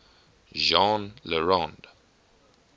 jean le rond